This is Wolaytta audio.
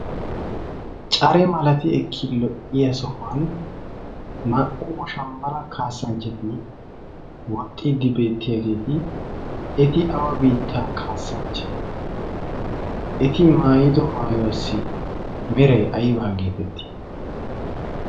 care malatiya issi lo'iya sohuwan naa'u woshambala kaasanchati woxiyageeta eti awa biitta kaasanche? eti maayido maayuwassi meray aybaa geetettii?